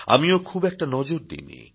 আমিও খুব একটা নজর দিইনি